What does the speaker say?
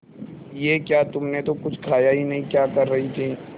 ये क्या तुमने तो कुछ खाया ही नहीं क्या कर रही थी